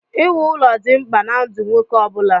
Iwu ụlọ dị mkpa na ndụ nwoke ọ bụla.